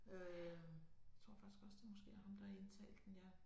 Øh tror faktisk også det måske er ham der har indtalt den ja